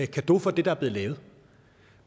cadeau for det der er blevet lavet